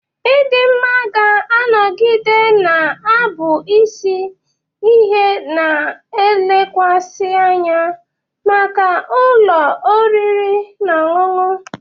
Ịdị mma ga-anọgide na-abụ isi ihe na-elekwasị anya maka ụlọ oriri na ọṅụṅụ.